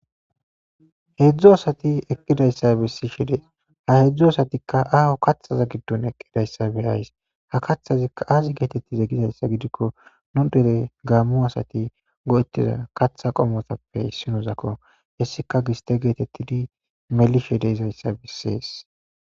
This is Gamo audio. Heedzdzu asati eqqidayssa bessi shide ha heedzdzu asatikka aaho kathaza giddun eqqidayssa beyays ha kathazikka aazi geetettize gizayssa gidikko nu dele gaammu asati go7ettiza katha qomotappe issinozakko hessika giste geetettidi melishi de izayssa bessees.